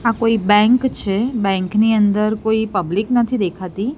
આ કોઈ બેંક છે બેંક ની અંદર કોઈ પબ્લિક નથી દેખાતી.